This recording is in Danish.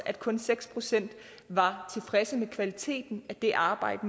at kun seks procent var tilfredse med kvaliteten af det arbejde